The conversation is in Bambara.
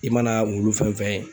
E mana wulu fɛn fɛn ye